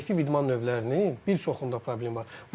Kollektiv idman növlərinin bir çoxunda problem var.